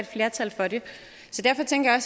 flertal for det så derfor tænker jeg